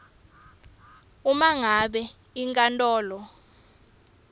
uma ngabe inkantolo